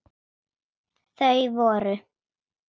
Þau voru